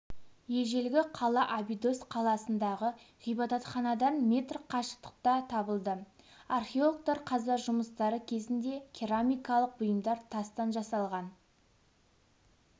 ежелгі қала абидос қаласындағы ғибадатханадан метр қашықтықта табылды археологтар қазба жұмыстары кезінде керамикалық бұйымдар тастан жасалған